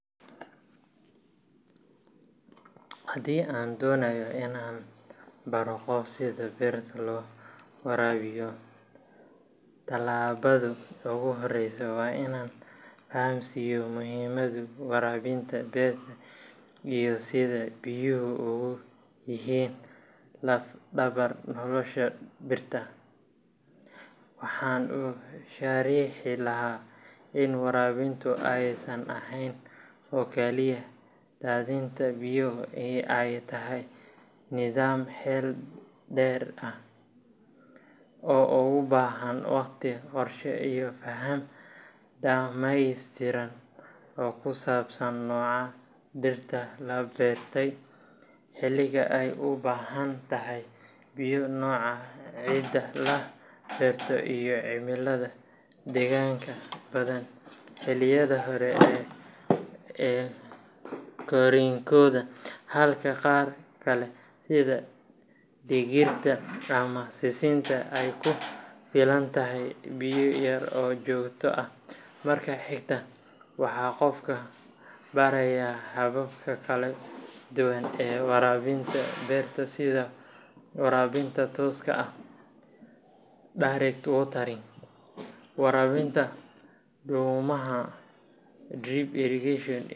Haddii aan doonayo inaan baro qof sida beerta loo waraabiyo, tallaabada ugu horreysa waa inaan fahamsiiyo muhiimadda waraabinta beerta iyo sida biyuhu ugu yihiin laf dhabar nolosha dhirta. Waxaan u sharixi lahaa in waraabintu aysan ahayn oo kaliya daadinta biyo ee ay tahay nidaam xeel dheer leh oo u baahan waqti, qorshe, iyo faham dhammaystiran oo ku saabsan nooca dhirta la beertay, xilliga ay u baahan tahay biyo, nooca ciidda la beerto, iyo cimilada deegaanka. Tusaale ahaan, dhiraha sida yaanyada, basasha, ama baradhada waxay u baahan yihiin biyo badan xilliyada hore ee korriinkooda, halka qaar kale sida digirta ama sisinta ay ku filan tahay biyo yar oo joogto ah. Marka xigta, waxaan qofka barayaa hababka kala duwan ee waraabinta beerta sida waraabinta tooska ah direct watering, waraabinta dhuumaha drip irrigation.